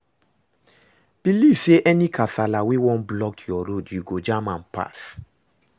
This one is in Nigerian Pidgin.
Belive say any kasala wey wan block yur road yu go jam am pass